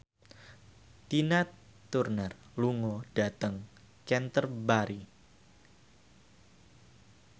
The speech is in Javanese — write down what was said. Tina Turner lunga dhateng Canterbury